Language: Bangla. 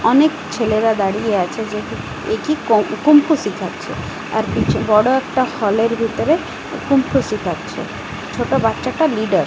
অনেক ছেলেরা দাঁড়িয়ে আছে যেটি একি কং কুংফু শিখাচ্ছে আর পিছ বড় একটা হল -এর ভিতরে কুংফু শিখাচ্ছে ছোট বাচ্চাটা লিডার ।